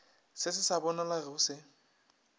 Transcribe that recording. se se sa bonalego se